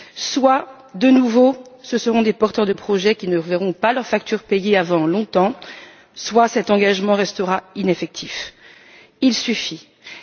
Soit, de nouveau, ce seront des porteurs de projets qui ne verront pas leurs factures payées avant longtemps, soit cet engagement restera lettre morte.